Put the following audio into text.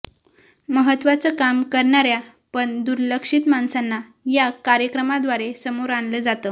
महत्त्वाचं काम करणाऱ्या पण दुर्लक्षित माणसांना या कार्यक्रमाद्वारे समोर आणलं जातं